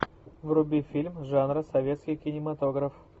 вруби фильм жанра советский кинематограф